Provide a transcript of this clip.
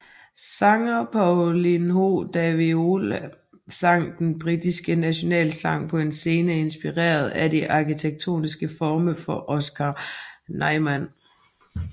Sanger Paulinho da Viola sang den brasilianske nationalsang på en scene inspireret af de arkitektoniske former for Oscar Niemeyer